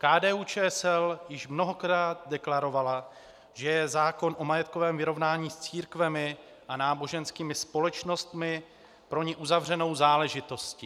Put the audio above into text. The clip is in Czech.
KDU-ČSL již mnohokrát deklarovala, že je zákon o majetkovém vyrovnání s církvemi a náboženskými společnostmi pro ni uzavřenou záležitostí.